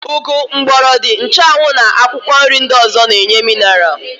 Ụgụ, mgbọrọdị, nchụanwụ na akwụkwọnri ndị ọ̀zọ́ na-enye minaral.